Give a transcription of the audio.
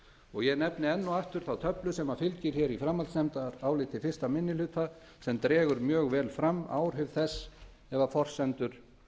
og ég nefni enn og aftur þá töflu sem fylgir framhaldsnefndaráliti fyrsti minni hluta sem dregur mjög vel fram áhrif þess ef forsendur